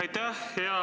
Aitäh!